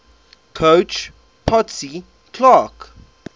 coach potsy clark